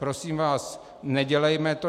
Prosím vás, nedělejme to.